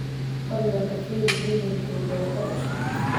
fadhlan ka firi gmailkayga warqad cusub